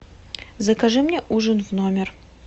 закажи мне ужин в номер